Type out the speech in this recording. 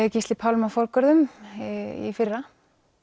Gísli Pálma forgörðum í fyrra